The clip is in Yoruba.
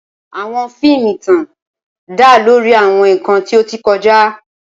Awọn fiimu itan da lori awọn nkan ti o ti kọja.